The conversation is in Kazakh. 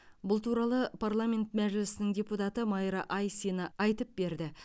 бұл туралы парламент мәжілісінің депутаты майра айсина айтып берді